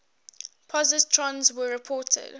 positrons were reported